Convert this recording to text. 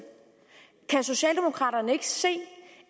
kan socialdemokraterne ikke se